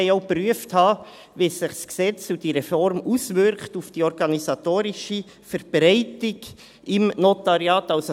Zudem wollen wir auch geprüft haben, wie sich das Gesetz und diese Reform auf die organisatorische Verbreitung der Notariate auswirkt.